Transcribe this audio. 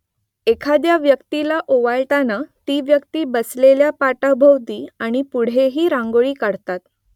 एखाद्या व्यक्तीला ओवाळताना ती व्यक्ती बसलेल्या पाटाभोवती आणि पुढेही रांगोळी काढतात